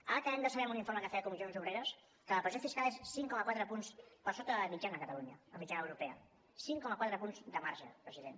ara acabem de saber amb un informe que feia comissions obreres que la pressió fiscal és cinc coma quatre punts per sota de la mitjana a catalunya de la mitjana europea cinc coma quatre punts de marge president